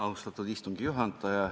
Austatud istungi juhataja!